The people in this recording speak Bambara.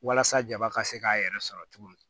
Walasa jaba ka se k'a yɛrɛ sɔrɔ cogo min